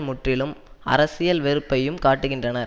முற்றிலும் அரசியல் வெறுப்பையும் காட்டுகின்றனர்